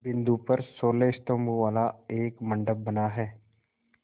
बिंदु पर सोलह स्तंभों वाला एक मंडप बना है